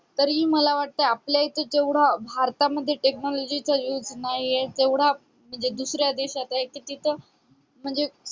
तरी मला वाटतंय भारतामध्ये जेवढा भारतामध्ये technology चा use नाहीये म्हणजे तेवढा म्हणजे दुसऱ्या देशात आहे कि तिथं म्हणजे